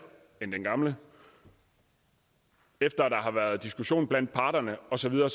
end den gamle efter at der har været diskussion blandt parterne og så videre